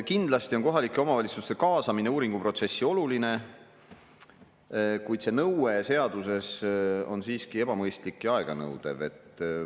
Kindlasti on kohalike omavalitsuste kaasamine uuringuprotsessi oluline, kuid see nõue seaduses on siiski ebamõistlik ja aeganõudev.